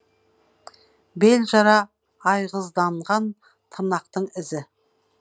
бел жара айғызданған тырнақтың ізі